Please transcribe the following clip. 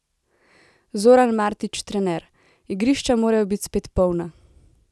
Zoran Martič, trener: "Igrišča morajo biti spet polna.